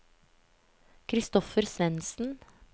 Christopher Svensen